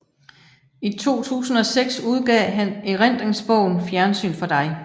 I 2006 udgav han erindringsbogen Fjernsyn for dig